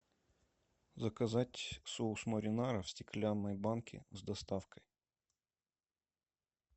заказать соус маринара в стеклянной банке с доставкой